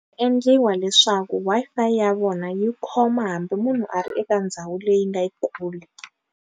Ku endliwa leswaku Wi-Fi ya vona yi khoma hambi munhu a ri eka ndhawu leyi nga yikulu.